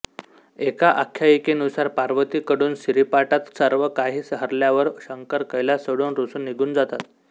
एका आख्यायिकेनुसार पार्वती कडून सारीपाटात सर्वकाही हरल्यावर शंकर कैलास सोडून रूसुन निघून जातात